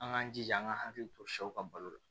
An k'an jija an ka hakili to sɛw ka balo la